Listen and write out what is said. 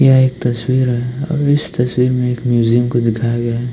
यह एक तस्वीर है और इस तस्वीर में एक म्यूजियम दिखाया गया है।